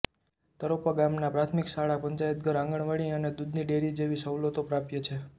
તરોપા ગામમાં પ્રાથમિક શાળા પંચાયતઘર આંગણવાડી અને દૂધની ડેરી જેવી સવલતો પ્રાપ્ય છે